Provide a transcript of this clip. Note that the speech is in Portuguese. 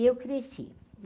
E eu cresci.